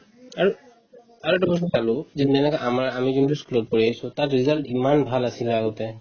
আৰু আৰু এটা কথা মই পালো যোনবিলাকে আমাৰ আমি যোনবিলাক ই school ত পঢ়ি আহিছো তাত result ইমান ভাল আছিলে আগতে